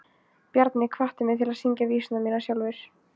Bjarni hvatti mig til að syngja vísurnar mínar sjálfur.